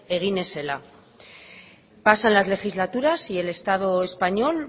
egin ez zela pasan las legislaturas y el estado español